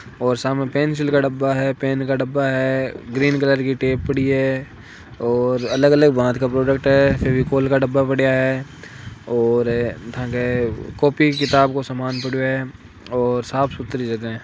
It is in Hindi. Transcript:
और सामने पेंसिल का डब्बा है पेन का डब्बा है ग्रीन कलर की टेप पड़ी है और अ लग अलग भांत का प्रोडक्ट है फेविकोल का डब्बा पडिया है और ए कॉपी किताब का सामान पडियो है और साफ सुधरी जगह है।